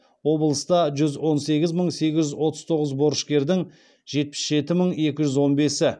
облыста жүз он сегіз мың сегіз жүз отыз тоғыз борышкердің жетпіс жеті мың екі жүз он бесі